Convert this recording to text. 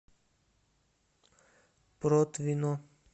протвино